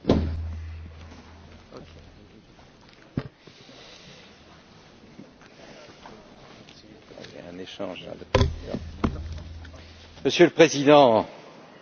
Monsieur le Président, Monsieur le Président de la Commission, Mesdames et Messieurs les Députés, nous venons d'écouter le président Juncker